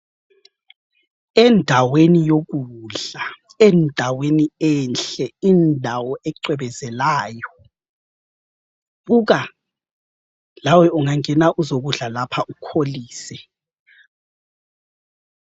Endaweni yokudla, endaweni enhle indawo ecwebezelayo. Buka! Lawe ungangena uzokudla lapha ukholise.